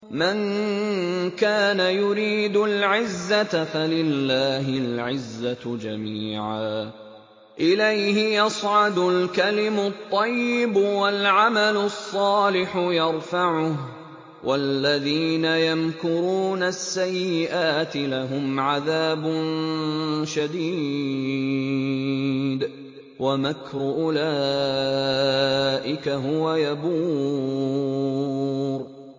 مَن كَانَ يُرِيدُ الْعِزَّةَ فَلِلَّهِ الْعِزَّةُ جَمِيعًا ۚ إِلَيْهِ يَصْعَدُ الْكَلِمُ الطَّيِّبُ وَالْعَمَلُ الصَّالِحُ يَرْفَعُهُ ۚ وَالَّذِينَ يَمْكُرُونَ السَّيِّئَاتِ لَهُمْ عَذَابٌ شَدِيدٌ ۖ وَمَكْرُ أُولَٰئِكَ هُوَ يَبُورُ